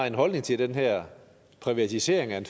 en holdning til den her privatisering af en